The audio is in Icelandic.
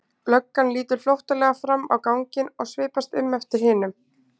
Löggan lítur flóttalega fram á ganginn og svipast um eftir hinum.